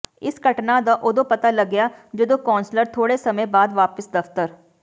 ਇਸ ਘਟਨਾ ਦਾ ਉਦੋਂ ਪਤਾ ਲੱਗਿਆ ਜਦੋਂ ਕੌਂਸਲਰ ਥੋੜੇ ਸਮੇਂ ਬਾਅਦ ਵਾਪਿਸ ਦਫਤਰ